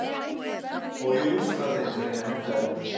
Og ég lúskra á þeim sem reyna að henda þér út.